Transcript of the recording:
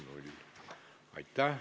Aitäh!